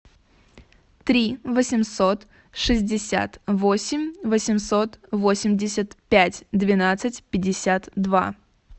три восемьсот шестьдесят восемь восемьсот восемьдесят пять двенадцать пятьдесят два